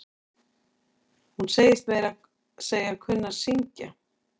Hún segist meira að segja kunna að syngj.